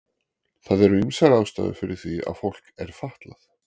Það eru ýmsar ástæður fyrir því að fólk er fatlað.